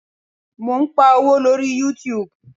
Mo ń pa owó lórí YouTube.